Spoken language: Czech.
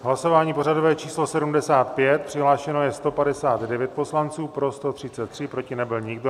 Hlasování pořadové číslo 75, přihlášeno je 159 poslanců, pro 133, proti nebyl nikdo.